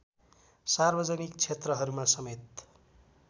सार्वजनिक क्षेत्रहरूमा समेत